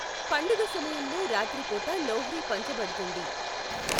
పండుగ సమయంలో రాత్రి పూట లోహ్రి పంచబడుతుంది.